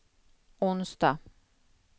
onsdag